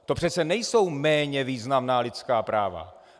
To přece nejsou méně významná lidská práva.